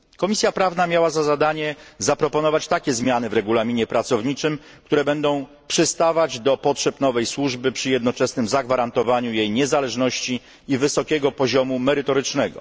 Komisja Prawna miała za zadanie zaproponować takie zmiany w regulaminie pracowniczym, które będą przystawać do potrzeb nowej służby przy jednoczesnym zagwarantowaniu jej niezależności i wysokiego poziomu merytorycznego.